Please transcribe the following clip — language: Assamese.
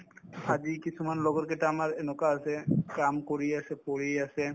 আজি কিছুমান লগৰকেইটা আমাৰ এনেকুৱা আছে কাম কৰিয়ে আছে পঢ়িয়ে আছে